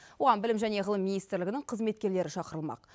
оған білім және ғылым министрлігінің қызметкерлері шақырылмақ